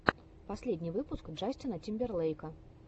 последний выпуск джастина тимберлейка